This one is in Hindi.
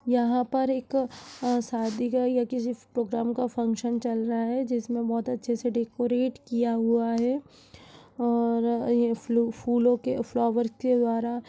यहां पर एक अ शादी का या किसी प्रोग्राम का फंक्शन चल रहा है जिसमें बहुत अच्छे से डेकोरेट किया हुआ है और यह फूलों के फ्लावर के द्वारा --